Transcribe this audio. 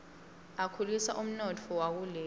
akhulisa umnotfo wakuleli